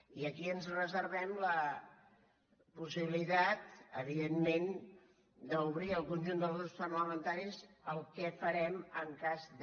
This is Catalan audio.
i aquí ens reservem la possibilitat evidentment d’obrir al conjunt dels grups parlamentaris el que farem en cas de